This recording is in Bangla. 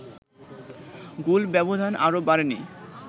গোল ব্যবধান আর বাড়েনি